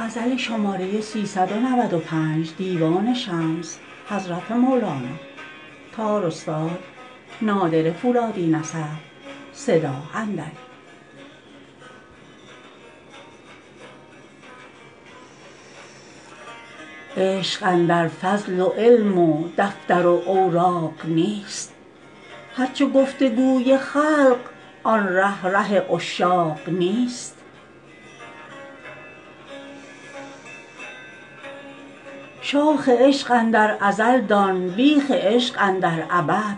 عشق اندر فضل و علم و دفتر و اوراق نیست هر چه گفت و گوی خلق آن ره ره عشاق نیست شاخ عشق اندر ازل دان بیخ عشق اندر ابد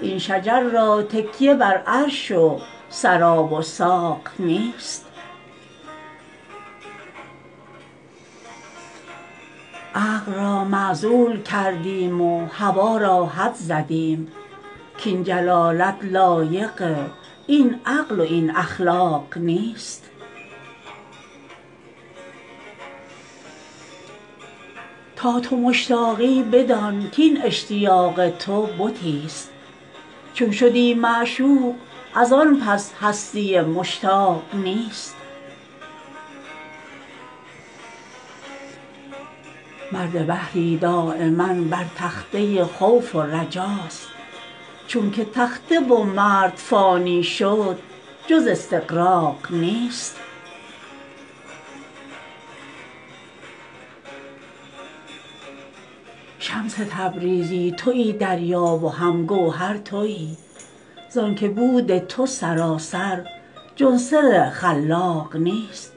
این شجر را تکیه بر عرش و ثری و ساق نیست عقل را معزول کردیم و هوا را حد زدیم کاین جلالت لایق این عقل و این اخلاق نیست تا تو مشتاقی بدان کاین اشتیاق تو بتی است چون شدی معشوق از آن پس هستیی مشتاق نیست مرد بحری دایما بر تخته خوف و رجا است چونک تخته و مرد فانی شد جز استغراق نیست شمس تبریزی توی دریا و هم گوهر توی زانک بود تو سراسر جز سر خلاق نیست